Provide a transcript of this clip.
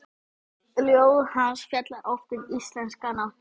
Ljóð hans fjalla oft um íslenska náttúru.